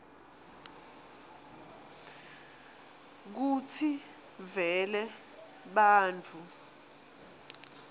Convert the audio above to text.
kutsi vele bantfu